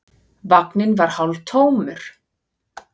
Vagninn var hálftómur.